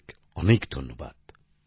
অনেক অনেক ধন্যবাদ